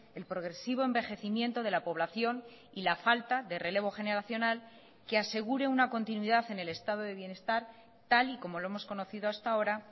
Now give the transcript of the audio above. el progresivo envejecimiento de la población y la falta de relevo generacional que asegure una continuidad en el estado de bienestar tal y como lo hemos conocido hasta ahora